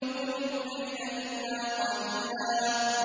قُمِ اللَّيْلَ إِلَّا قَلِيلًا